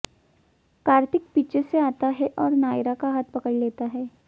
कार्तिक पीछे से आता है और नायरा का हाथ पकड़ लेता है